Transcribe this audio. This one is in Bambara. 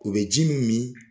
O bɛ ji min min.